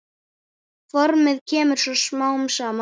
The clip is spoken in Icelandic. Formið kemur svo smám saman.